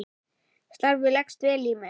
Starfið leggst vel í mig.